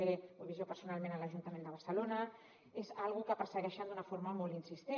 ho he vist jo personalment a l’ajuntament de barcelona és una cosa que persegueixen d’una forma molt insistent